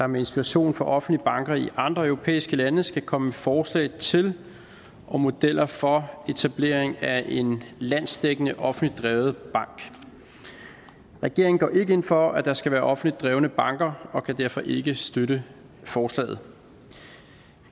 med inspiration fra offentlige banker i andre europæiske lande skal komme med forslag til og modeller for etablering af en landsdækkende offentligt drevet bank regeringen går ikke ind for at der skal være offentligt drevne banker og kan derfor ikke støtte forslaget